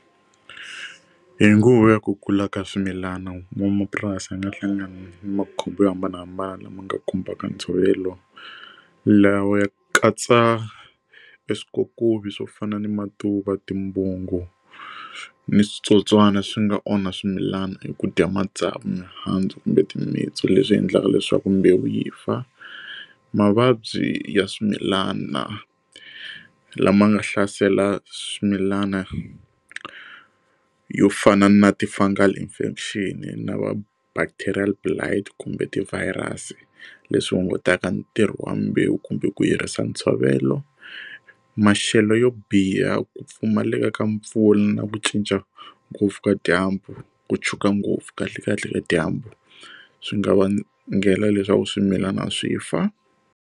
Ku hi nguva ya ku kula ka swimilana n'wamapurasi a nga hlangana na makhombo yo hambanahambana lama nga khumbaka ntshovelo la wu ya katsa swikokovi swo fana ni ma tuva timbangu ni switsotswana swi nga onha swimilana hi ku dya matsavu mihandzu kumbe timitsu leswi endlaka leswaku mbewu yi fa mavabyi ya swimilana lama nga hlasela swimilana yo fana na ti fungal infection na va bacterial blide kumbe ti virus leswi hungutaka ntirho wa mbewu kumbe ku yirisa ntshovelo maxelo yo biha ku pfumaleka ka mpfula na ku cinca ngopfu ka dyambu ku tshuka ngopfu kahle kahle ka dyambu swi nga vangela leswaku swimilana swi fa.